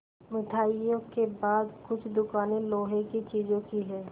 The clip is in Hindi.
मिठाइयों के बाद कुछ दुकानें लोहे की चीज़ों की हैं